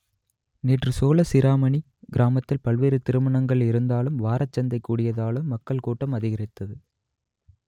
நேற்று சோழசிராமணி கிராமத்தில் பல்வேறு திருமணங்கள் இருந்ததாலும் வாரசந்தை கூடியதாலும் மக்கள் கூட்டம் அதிகரித்தது